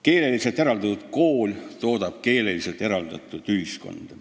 Keeleliselt eraldatud kool toodab keeleliselt eraldatud ühiskonda.